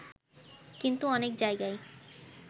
কিন্তু অনেক জায়গায়